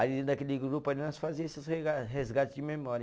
Aí, naquele grupo, nós fazia esses rega, resgate de memória.